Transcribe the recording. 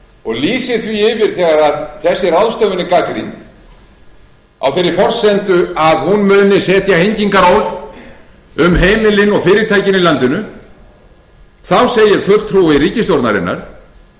og lýsir því yfir þegar þessi ráðstöfun er gagnrýnd á þeirri forsendu að hún muni setja hengingaról á heimilin og fyrirtækin í landinu þá segir fulltrúi ríkisstjórnarinnar